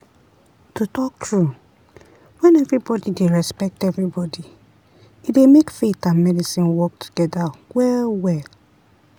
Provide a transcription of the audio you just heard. to talk true when everybody dey respect everybody e dey make faith and medicine work together well-well.